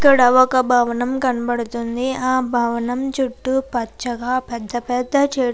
ఇక్కడ ఒక భవనం కనపడుతుంది. ఆ భవనం చుట్టూ పచ్చగా పెద్ద పెద్ద చే --